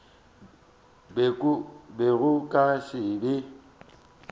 be go ka se be